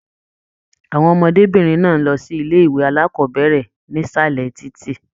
Àwọn ọmọdébinrin náà n lọ sí ilé ìwé alákọ̀bẹ̀rẹ̀ nísàlẹ̀ títí.